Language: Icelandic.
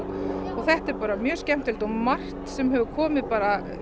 þetta er bara mjög skemmtilegt og margt sem hefur komið bara